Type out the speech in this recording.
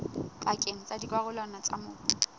pakeng tsa dikarolwana tsa mobu